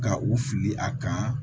Ka u fili a kan